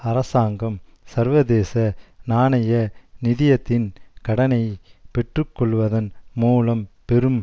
அரசாங்கம் சர்வதேச நாணய நிதியத்தின் கடனை பெற்றுக்கொள்வதன் மூலம் பெரும்